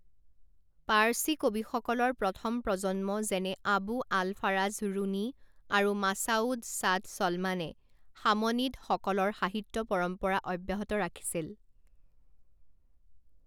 পাৰ্ছী কবিসকলৰ প্ৰথম প্ৰজন্ম যেনে আবু আল ফাৰাজ ৰুণী আৰু মাছ'উদ চাদ ছলমানে সামনিদসকলৰ সাহিত্য পৰম্পৰা অব্যাহত ৰাখিছিল।